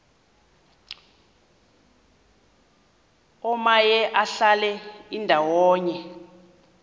omaye adlale indawo